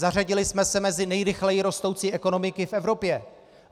Zařadili jsme se mezi nejrychleji rostoucí ekonomiky v Evropě.